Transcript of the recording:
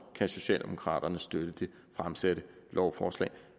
kan socialdemokraterne støtte det fremsatte lovforslag